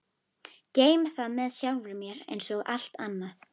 Geymi það með sjálfri mér einsog allt annað.